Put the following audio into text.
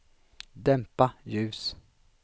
dämpa ljus